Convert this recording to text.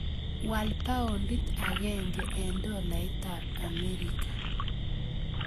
Wal paondit agenge eng' dolaitap Amerika